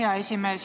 Hea esimees!